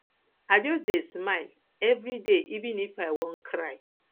i just dey smile everyday even if i wan cry